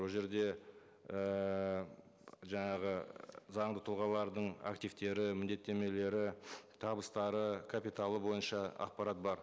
ол жерде ііі жаңағы заңды тұлғалардың активтері міндеттемелері табыстары капиталы бойынша ақпарат бар